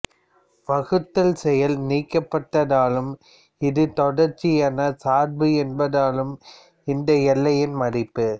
வகுத்தல் செயல் நீக்கப்பட்டதாலும் இது தொடர்ச்சியான சார்பு என்பதாலும் இந்த எல்லையின் மதிப்பு